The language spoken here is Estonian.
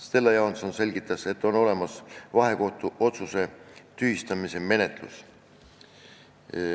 Stella Johanson selgitas, et on olemas vahekohtu otsuse tühistamise menetlus.